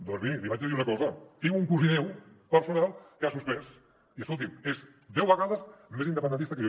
doncs miri li vaig a dir una cosa tinc un cosí meu personal que ha suspès i escolti’m és deu vegades més independentista que jo